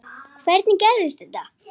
Mér heyrist það vera Lilja.